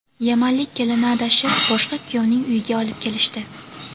Yamanlik kelinni adashib boshqa kuyovning uyiga olib kelishdi.